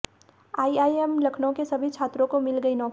IIM Lucknow के सभी छात्रों को मिल गई नौकरी